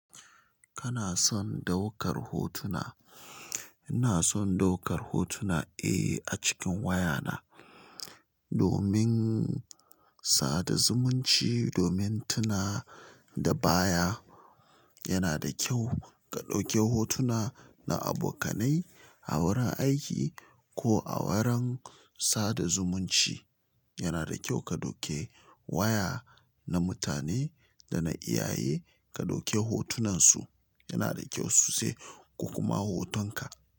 Kana son daukar hotuna? Ina son daukar hotuna? Eh a cikin wayana domin sada zumunci domin tuna da baya. Ina son daukar hotuna, eh, a cikin wayana domin sada zumunci, domin tuna da baya. Yana da kyau ka ɗauki hotuna na abokanai a wurin aiki ko a wurin sada zumunci. Yana da kyau ka ɗauke waya na mutane da na iyaye ka ɗauke hotunansu.